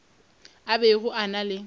a bego a na le